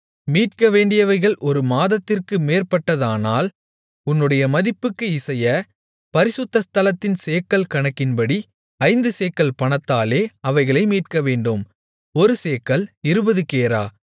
மீட்கவேண்டியவைகள் ஒரு மாதத்திற்கு மேற்பட்டதானால் உன்னுடைய மதிப்புக்கு இசைய பரிசுத்த ஸ்தலத்தின் சேக்கல் கணக்கின்படி ஐந்து சேக்கல் பணத்தாலே அவைகளை மீட்கவேண்டும் ஒரு சேக்கல் இருபது கேரா